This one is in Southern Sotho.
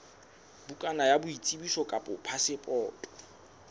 bukana ya boitsebiso kapa phasepoto